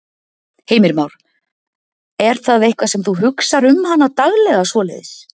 Heimir Már: Er það eitthvað sem þú hugsar um hana daglega svoleiðis?